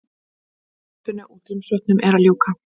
Hlaupinu úr Grímsvötnum er að ljúka